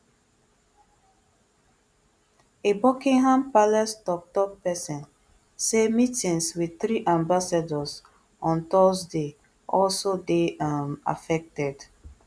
a buckingham palace tok tok pesin say meetings wit three ambassadors on thursday also dey um affected